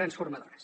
transformadores